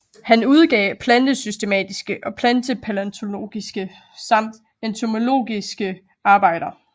Han udgav plantesystematiske og plantepalæontologiske samt entomologiske arbejder